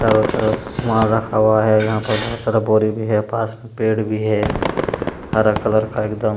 चारो तरफ माल रखा हुआ है। यहाँ पर बहुत सारा बोरी भी है पास में पेड़ भी है हरा कलर का एकदम --